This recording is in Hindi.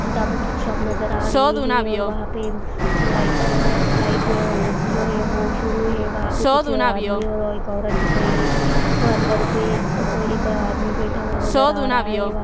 किताबों की शॉप नज़र आ रही है और वहा पे लाइट का लाइट जो है वो शुरू है वहा पे कुछ आदमी और एक औरत दिख रही है और अंदर पे कोई एक आदमी बैठा हुआ नज़र आ रहा है।